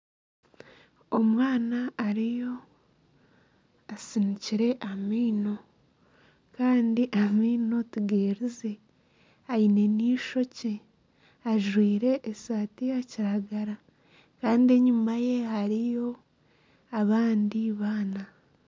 Omwana ariyo asinikire amaino kandi amaino tigerize aine n'eishokye ajwaire esaati ya kiragara kandi enyuma ye hariyo abandi baana.